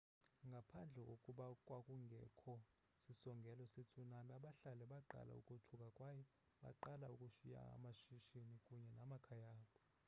ngaphandle kokuba kwakungekho sisongelo se-tsunami abahlali baqala ukothuka kwaye baqala ukushiya amashishini kunye namakhaya abo